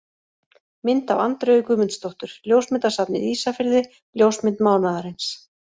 Mynd af Andreu Guðmundsdóttur: Ljósmyndasafnið Ísafirði Ljósmynd mánaðarins.